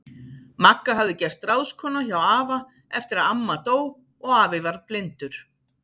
Magga hafði gerst ráðskona hjá afa eftir að amma dó og afi varð blindur.